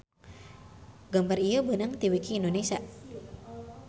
Gambar ieu beunang ti wiki Indonesia